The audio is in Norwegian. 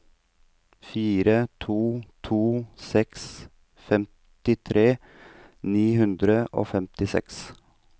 fire to to seks femtitre ni hundre og femtiseks